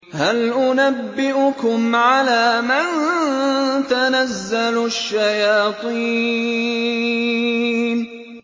هَلْ أُنَبِّئُكُمْ عَلَىٰ مَن تَنَزَّلُ الشَّيَاطِينُ